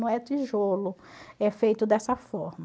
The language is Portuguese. Não é tijolo, é feito dessa forma.